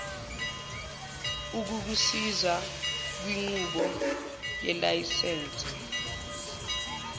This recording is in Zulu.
ukukusiza kwinqubo yelayisense